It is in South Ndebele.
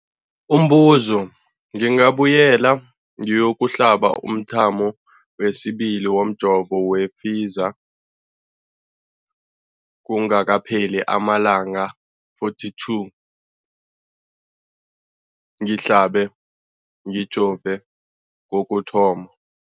Umbuzo, ngingabuyela ngiyokuhlaba umthamo wesibili womjovo we-Pfizer kungakapheli ama-42 wamalanga ngihlabe, ngijove kokuthoma.